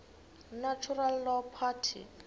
natural law party